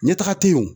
Ɲɛtaga in